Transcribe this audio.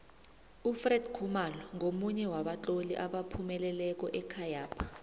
ufred khumalo ngomunye wabatloli abaphumeleleko ekhayapha